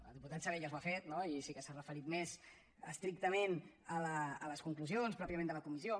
el diputat salellas ho ha fet no i sí que s’ha referit més estrictament a les conclusions pròpiament de la comissió